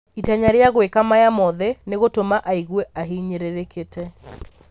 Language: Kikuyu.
itanya ria gwĩka maya mothe nĩ gũtũma aigue ahinyĩrĩrĩkĩte.